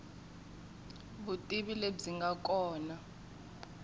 vutivi lebyi nga kona i